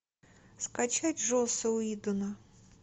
скачать джосс уидона